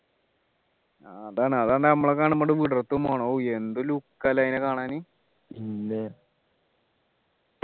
ആഹ് അതാണ് അതാണ് നമ്മളെ കാണുമ്പോൾ അത് വിടർത്തും വേണം ഓഹ് എന്ത് look ആ അല്ലേ അതിനെ കാണാനീ